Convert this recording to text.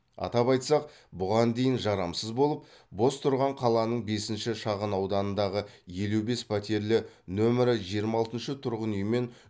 атап айтсақ бұған дейін жарамсыз болып бос тұрған қаланың бесінші шағын ауданындағы елу бес пәтерлі нөмірі жиырма алтыншы тұрғын үй мен